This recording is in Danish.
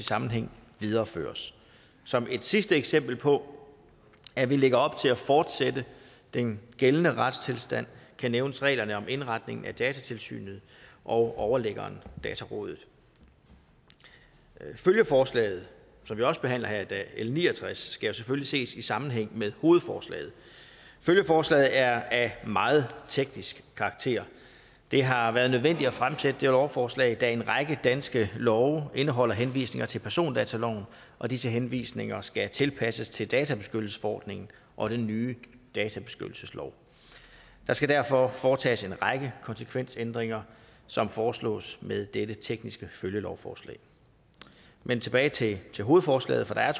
sammenhæng videreføres som et sidste eksempel på at vi lægger op til at fortsætte den gældende retstilstand kan nævnes reglerne om indretningen af datatilsynet og overliggeren datarådet følgeforslaget som vi også behandler her i dag l ni og tres skal jo selvfølgelig ses i sammenhæng med hovedforslaget følgeforslaget er af meget teknisk karakter det har været nødvendigt at fremsætte det lovforslag da en række danske love indeholder henvisninger til persondataloven og disse henvisninger skal tilpasses til databeskyttelsesforordningen og den nye databeskyttelseslov der skal derfor foretages en række konsekvensændringer som foreslås med dette tekniske følgelovforslag men tilbage til til hovedforslaget for der